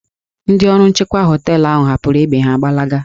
Ndị ọrụ nchekwa họteelụ ahụ hapụrụ egbe ha gbalaga